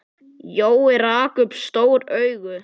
Jói rak upp stór augu.